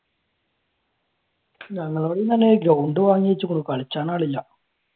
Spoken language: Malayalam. ഞങ്ങളോട് ഇന്നലെ ഗ്രൗണ്ട് കളിച്ചാൻ ആളില്ല.